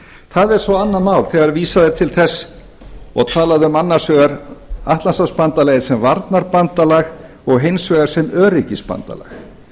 það er svo annað mál þegar vísað er til þess og talað um annars vegar atlantshafsbandalagið sem varnarbandalag og hins vegar sem öryggisbandalag